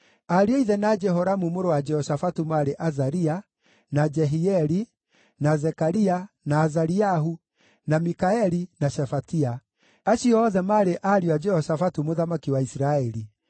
Ariũ a ithe na Jehoramu mũrũ wa Jehoshafatu maarĩ Azaria, na Jehieli, na Zekaria, na Azariahu, na Mikaeli, na Shefatia. Acio othe maarĩ ariũ a Jehoshafatu mũthamaki wa Isiraeli.